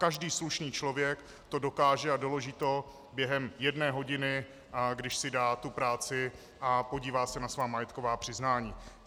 Každý slušný člověk to dokáže a doloží to během jedné hodiny, když si dá tu práci a podívá se na svá majetková přiznání.